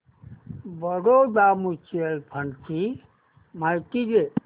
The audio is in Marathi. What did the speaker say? बडोदा म्यूचुअल फंड ची माहिती दे